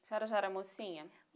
A senhora já era mocinha?